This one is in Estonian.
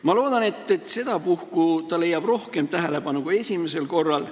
Ma loodan, et sedapuhku leiab ta rohkem tähelepanu kui esimesel korral.